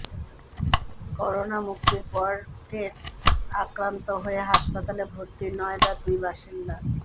corona মুক্তির পরে ফের আক্রান্ত হয়ে হাসপাতালে ভর্তি নয়ডার দুই বাসিন্দা